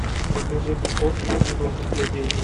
покажи мне остров ненужных людей